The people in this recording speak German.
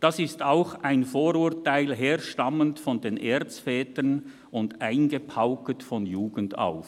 Das ist auch ein Vorurteil, herstammend von den Erzvätern und eingepauket von Jugend auf.